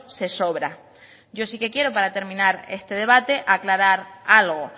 se sobra yo sí que quiero para terminar este debate aclarar algo